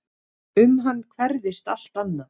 Um hann hverfist allt annað.